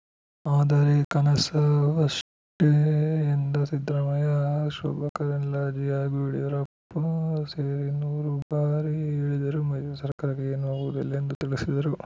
ಆದರೆ ಕನಸಷ್ಟೇ ಎಂದ ಸಿದ್ದರಾಮಯ್ಯ ಶೋಭಾ ಕರಂದ್ಲಾಜೆ ಹಾಗೂ ಯಡಿಯೂರಪ್ಪ ಸೇರಿ ನೂರು ಬಾರಿ ಹೇಳಿದರೂ ಮೈತ್ರಿ ಸರ್ಕಾರಕ್ಕೆ ಏನೂ ಆಗುವುದಿಲ್ಲ ಎಂದು ತಿಳಿಸಿದರು